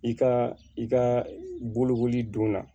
I ka i ka bolokoli don o la